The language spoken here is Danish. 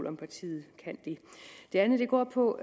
om partiet kan det det andet går på